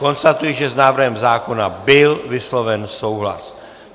Konstatuji, že s návrhem zákona byl vysloven souhlas.